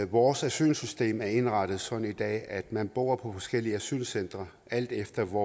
vores asylsystem er indrettet sådan i dag at man bor på forskellige asylcentre alt efter hvor